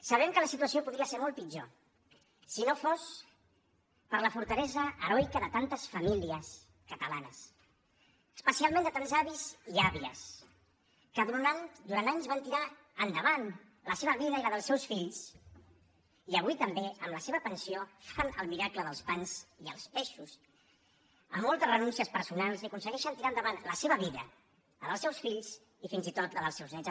sabem que la situació podria ser molt pitjor si no fos per la fortalesa heroica de tantes famílies catalanes especialment de tants avis i àvies que durant anys van tirar endavant la seva vida i la dels seus fills i avui també amb la seva pensió fan el miracle dels pans i els peixos amb moltes renúncies personals i aconsegueixen tirar endavant la seva vida la dels seus fills i fins i tot la dels seus néts